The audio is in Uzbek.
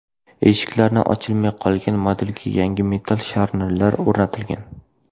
Eshiklari ochilmay qolgan modelga yangi metall sharnirlar o‘rnatilgan.